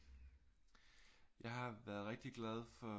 Jeg har været rigtig glad for